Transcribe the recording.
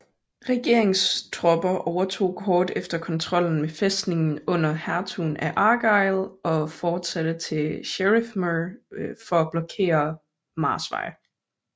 Regereringstropper overtog kort efter kontrollen med fæstningen under hertugen af Argyll og fortsatte til Sheriffmuir for at blokere Mars vej